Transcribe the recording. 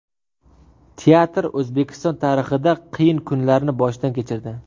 Teatr O‘zbekiston tarixida qiyin kunlarni boshdan kechirdi.